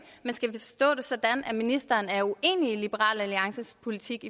men skal vi forstå det sådan at ministeren er uenig i liberal alliances politik